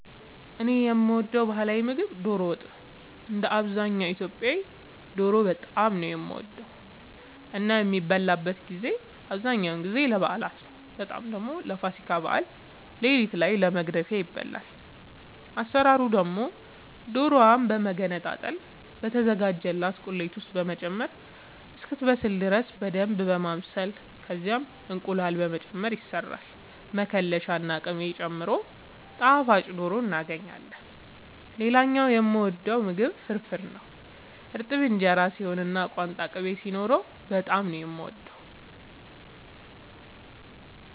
እኔ የምወደው ባህላዊ ምግብ ዶሮ ወጥ ነው። እንደ አብዛኛው ኢትዮጵያዊ ዶሮ በጣም ነው የምወደው እና የሚበላበትን ጊዜ አብዛኛውን ጊዜ ለበዓላት ነው በጣም ደግሞ ለፋሲካ በዓል ሌሊት ላይ ለመግደፊያ ይበላል። አሰራሩ ደግሞ ዶሮዋን በመገነጣጠል በተዘጋጀላት ቁሌት ውስጥ በመጨመር እስክትበስል ድረስ በደንብ በማብሰል ከዛም እንቁላል በመጨመር ይሰራል መከለሻ ና ቅቤ ጨምሮ ጣፋጭ ዶሮ እናገኛለን። ሌላኛው የምወደው ምግብ ፍርፍር ነው። እርጥብ እንጀራ ሲሆን እና ቋንጣ ቅቤ ሲኖረው በጣም ነው የምወደው።